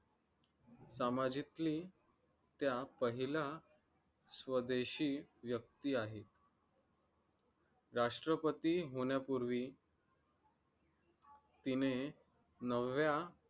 सामाजिकली त्या पहिल्या स्वदेशी व्यक्ती आहेत राष्ट्रपती होण्यापूर्वी तिने नवऱ्या